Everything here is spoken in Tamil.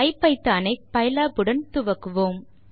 ஆகவே ஐபிதான் ஐ பைலாப் உடன் துவக்குவோம்